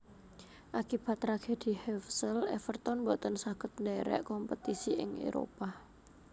Akibat Tragedi Hevsel Everton boten saged ndherek kompetisi ing Éropah